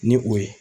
Ni o ye